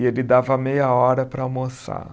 E ele dava meia hora para almoçar.